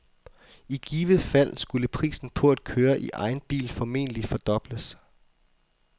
I givet fald, skulle prisen på at køre i egen bil formentlig fordobles.